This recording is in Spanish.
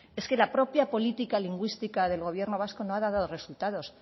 es que la propia política lingüística del gobierno vasco no ha dado resultados